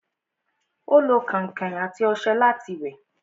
Ó lo kẹ̀ǹkẹ̀ àti ọṣẹ láti wẹ̀